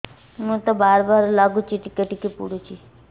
ମୁତ ବାର୍ ବାର୍ ଲାଗୁଚି ଟିକେ ଟିକେ ପୁଡୁଚି